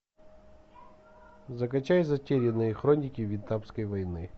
закачай затерянные хроники вьетнамской войны